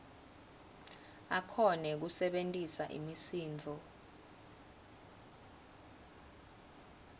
akhone kusebentisa imisindvo